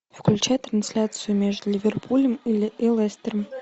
включай трансляцию между ливерпулем и лестером